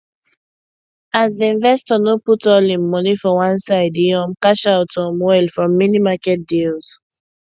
as the investor no put all him money for one side e um cash out um well from many market deals